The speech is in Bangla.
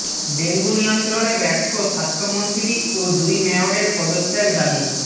ডেঙ্গু নিয়ন্ত্রণে ব্যর্থ স্বাস্থ্যমন্ত্রী ও দুই মেয়রের পদত্যাগ দাবি